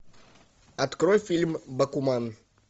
открой фильм бакуман